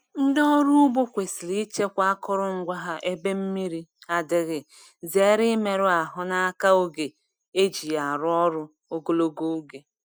Ndị ọrụ ugbo kwesịrị ichekwa akụrụngwa ha ebe mmri adịghị zere imeru ahụ n’aka oge e ji ya arụ ọrụ ogologo oge.